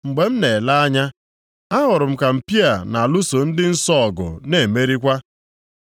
Mgbe m na-ele anya, ahụrụ m ka mpi a na-alụso ndị nsọ ọgụ na-emerikwa.